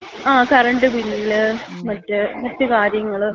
ങ്ങാ. Current bill. മറ്റ് കാര്യങ്ങള്.